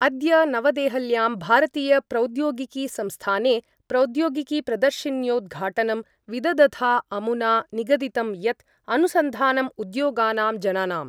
अद्य नवदेहल्यां भारतीयप्रौद्योगिकीसंस्थाने प्रौद्योगिकीप्रदर्शिन्योद्घाटनं विदधता अमुना निगदितं यत् अनुसन्धानम् उद्योगानां जनानां